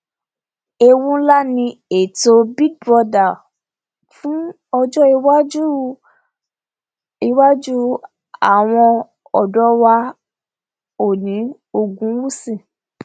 ewu ńlá ni ètò big brother fún ọjọ iwájú iwájú àwọn ọdọ wa oòní ogunwúsì